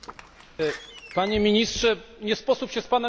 Panie Ministrze, nie sposób się z Panem nie zgodzić.